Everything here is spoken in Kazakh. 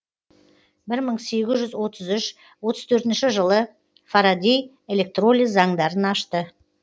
бір мың сегіз жүз отыз үш отыз төртінші жылы фарадей электролиз заңдарын ашты